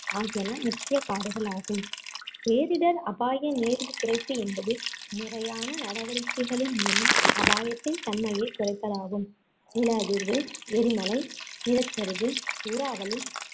ஆகியன முக்கிய காடுகளாகும் பேரிடர் அபாய நேர்வு குறைப்பு என்பது முறையான நடவடிக்கைகளின் மூலம் அபாயத்தின் தன்மையைக் குறைப்பதாகும் நிலஅதிர்வு, எரிமலை, நிலச்சரிவு, சூறாவளி,